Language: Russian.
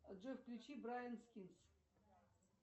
джой включи брайан скинс